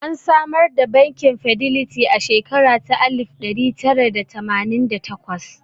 An samar da bankin Fidelity a shekara ta alif ɗari tara da tamanin da takwas